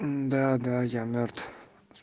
да да я мёртв